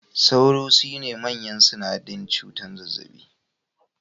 Sauro sune manyan sanadin cutar zazzaɓi